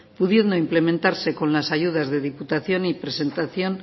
pudiendo implementarse con las ayudas de diputación y presentación